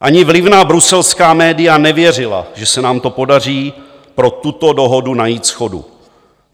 Ani vlivná bruselská média nevěřila, že se nám to podaří, pro tuto dohodu najít shodu.